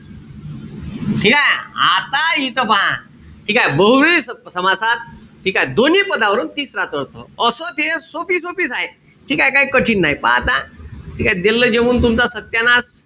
ठीकेय? आता इथं पहा. बहुव्रीही समासात ठीकेय? दोन्ही पदावरून तिसराच अर्थ. असं ते सोपी-सोपीच आहे. ठीकेय? काई कठीण नाई. पहा आता. ठीकेय? देल्लं लिहून तुमचा सत्यानाश.